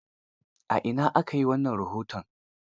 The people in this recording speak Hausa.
A ina aka yi wannan rahoton?